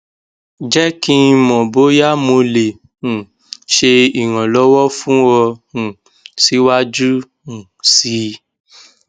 jẹ ki n mọ boya mo le um ṣe iranlọwọ fun ọ um siwaju um sii